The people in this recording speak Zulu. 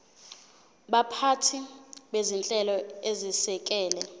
baphathi bezinhlelo ezisekela